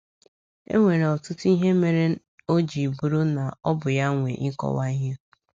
E nwere ọtụtụ ihe mere o ji bụrụ na ọ bụ ya nwe ịkọwa ihe.